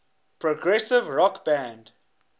progressive rock band